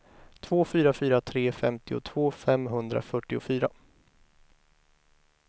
två fyra fyra tre femtiotvå femhundrafyrtiofyra